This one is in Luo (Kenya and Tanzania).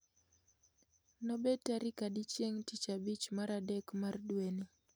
Nobed tarik adi chieng tich abich mar adek mar dweni